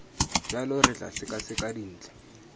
jalo re tla sekaseka dintlha